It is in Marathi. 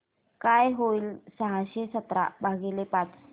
काय होईल सहाशे सतरा भागीले पाच